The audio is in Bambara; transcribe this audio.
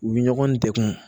U bɛ ɲɔgɔn degun